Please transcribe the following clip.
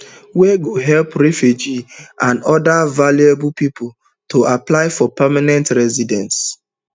wey go help refugees and oda vulnerable pipo to apply for permanent residency